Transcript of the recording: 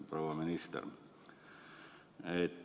Proua minister!